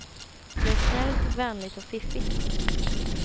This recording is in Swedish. Det är snällt, vänligt och fiffigt.